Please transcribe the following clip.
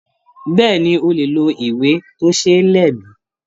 Bẹ́ẹ̀ni, o lè ló ìwé tó ṣé lè mi.